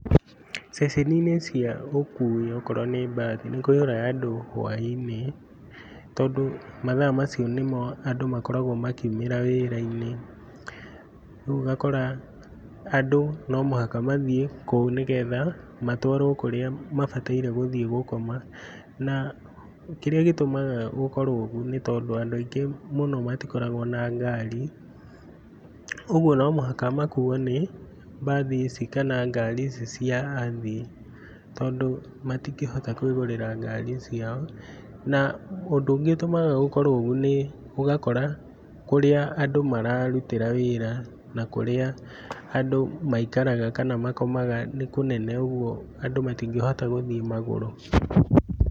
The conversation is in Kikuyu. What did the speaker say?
Ceceni-inĩ cia ũkui okorwo nĩ mbathi, nĩkũiyũraga andũ hwainĩ tondũ mathaa macio nĩmo andũ makoragwo makiumĩra wĩra-inĩ, rĩu ũgakora andũ no mũhaka mathiĩ kũu nĩgetha matwarwo kũrĩa mabataire gũthiĩ gũkoma. Na kĩria gĩtũmaga gũkorwo ũguo nĩ tondũ andũ aingĩ mũno matikoragwo na ngari, ũguo no mũhaka makuo nĩ mbathi ici kana ngari ici cia athii tondũ matingĩhota kũĩgũrĩra ngari ciao. Na ũndũ ũngĩ ũtũmaga gũkorwo ũguo nĩ ũgakora kũrĩa andũ mararutĩra wĩra, na kũrĩa andũ maikaraga kana makomaga nĩ kũnene ũguo andũ matingĩhota gũthiĩ magũrũ.